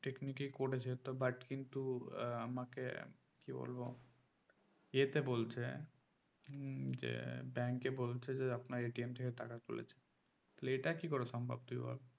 technic এ করেছে তো but কিন্তু আহ আমাকে কি বলবো ইয়েতে বলছে উম যে bank এ বলছে যে আপনার থেকে টাকা তুলেছে তাহলে এটা কি করে সম্ভব তুই বল